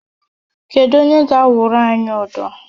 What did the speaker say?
Kedu onye ga-awụrụ anyị ụdọ?